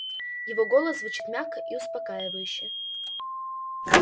его голос звучит мягко и успокаивающе